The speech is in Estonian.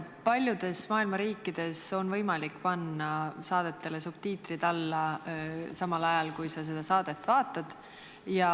Paljudes maailma riikides on võimalik panna saadetele subtiitrid alla samal ajal, kui seda saadet näidatakse.